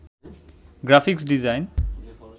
graphics design